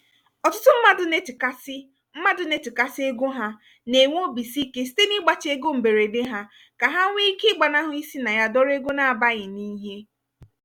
ọtụtụ mmadụ na-echekasị mmadụ na-echekasị ego ha na-enwe obisike site n'igbachi ego mberede ha kà ha nwee ike gbanahụ isi na ya dọrọ ego n'abaghị n'ihe.